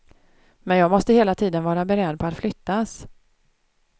Men jag måste hela tiden vara beredd på att flyttas.